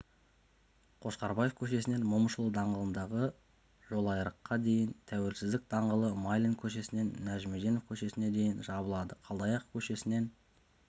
қошқарбаев көшесінен момышұлы даңғылындағы жолайрыққа дейін тәуелсіздік даңғылы майлин көшесінен нәжімеденов көшесіне дейін жабылады қалдаяков көшесімен